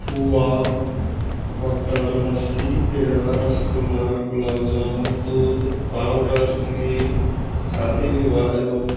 खोआ butter lassi peda rasgulla gulab jamun दुध powder cream शादी-विवाह एवं --